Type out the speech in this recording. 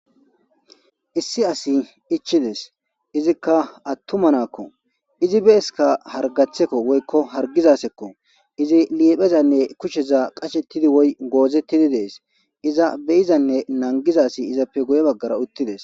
Issi asi ichizes izika atuma na'ako izi be'asika harigacheko woykko harigiza asako izi liphezane kusheza qashetidi woyi gozetidi de'es iza be'izane nanigiza asi izape guye baggara uttides.